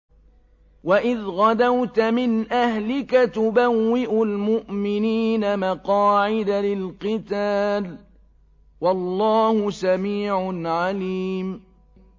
وَإِذْ غَدَوْتَ مِنْ أَهْلِكَ تُبَوِّئُ الْمُؤْمِنِينَ مَقَاعِدَ لِلْقِتَالِ ۗ وَاللَّهُ سَمِيعٌ عَلِيمٌ